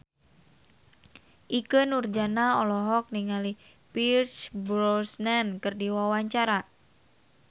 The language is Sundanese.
Ikke Nurjanah olohok ningali Pierce Brosnan keur diwawancara